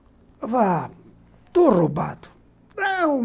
Eu falava... Estou roubado.